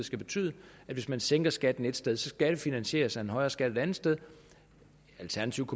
skal betyde at hvis man sænker skatten ét sted skal det finansieres af en højere skat et andet sted alternativt